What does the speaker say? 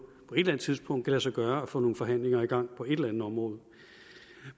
på et et tidspunkt kan lade sig gøre at få nogle forhandlinger i gang på et eller andet område